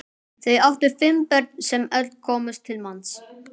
Þau áttu fimm börn sem öll komust til manns.